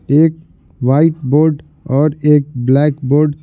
एक white board और एक ब्लैक बोर्ड --